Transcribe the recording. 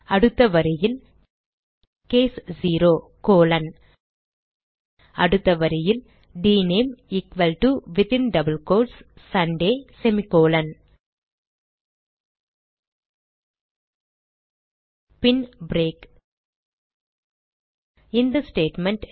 அடுத்த வரியில் case 0 colon அடுத்த வரியில் dname equal to within double quotes Sunday semicolon பின் பிரேக் இந்த ஸ்டேட்மெண்ட்